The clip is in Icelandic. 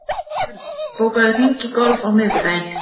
Örn, bókaðu hring í golf á miðvikudaginn.